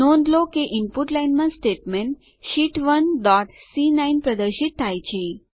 નોંધ લો કે ઇનપુટ લાઇન માં સ્ટેટમેંટ શીટ 1 ડોટ સી9 પ્રદર્શિત થાય છે